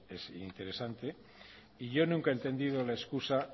es interesante y yo nunca he entendido la excusa